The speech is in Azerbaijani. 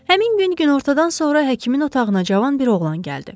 Həmin gün günortadan sonra həkimin otağına cavan bir oğlan gəldi.